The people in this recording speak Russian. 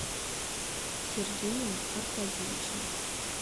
сергеем аркадьевичем